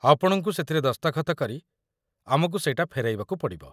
ଆପଣଙ୍କୁ ସେଥିରେ ଦସ୍ତଖତ କରି ଆମକୁ ସେଇଟା ଫେରାଇବାକୁ ପଡ଼ିବ ।